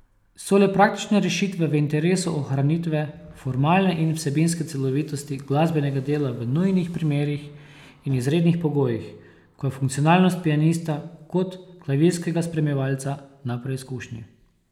So le praktične rešitve v interesu ohranitve formalne in vsebinske celovitosti glasbenega dela v nujnih primerih in izrednih pogojih, ko je funkcionalnost pianista kot klavirskega spremljevalca na preizkušnji.